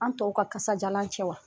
An tɔw ka kasajalan cɛ wa.